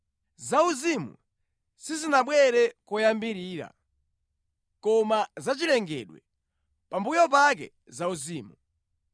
Zauzimu sizinabwere koyambirira, koma zachilengedwe, pambuyo pake zauzimu.